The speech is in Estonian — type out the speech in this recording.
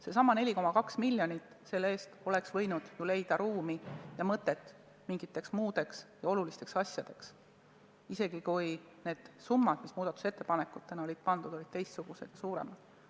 Sellesama 4,2 miljoni eest oleks võinud ju leida ruumi ja mõtet mingiteks muudeks, olulisteks asjadeks, isegi kui need summad, mis muudatusettepanekutes olid kirja pandud, olid teistsugused, suuremad.